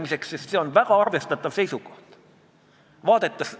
Näiteks Egiptuses te võite saada 1000 dollarit trahvi selle eest, et toidate kalakesi meres.